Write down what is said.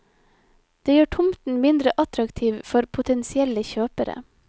Det gjør tomten mindre attraktiv for potensielle kjøpere.